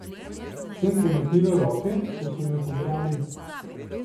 Sem premaknila roke, ko so me pobrali?